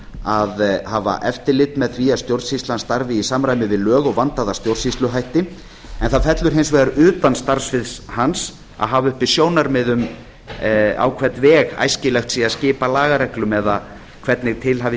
að hafa eftirlit með því að stjórnsýslan starfi í samræmi við lög og vandaða stjórnsýsluhætti en það fellur hins vegar utan starfssviðs hans að hafa uppi sjónarmið um á hvern veg æskilegt sé að skipa lagareglum eða hvernig til hafi